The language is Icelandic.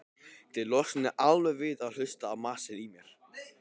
Þið losnið alveg við að hlusta á masið í mér.